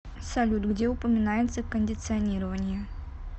салют где упоминается кондиционирование